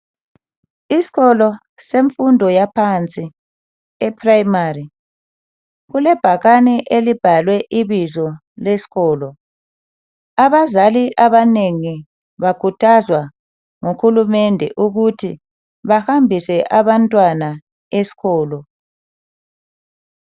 Isikolo semfundo yaphansi eprimary kulebhakane elibhalwe ibizo lesikolo abazali abanengi bakhuthazwa ngu hulumende ukuthi bahambise abantwana esikolo